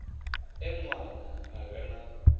e ṋwana a re na